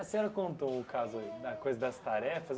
A senhora contou o caso da coisa das tarefas.